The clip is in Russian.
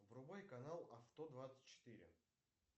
врубай канал авто двадцать четыре